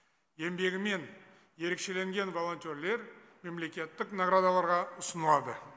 еңбегімен ерекшеленген волонтерлер мемлекеттік наградаларға ұсынылады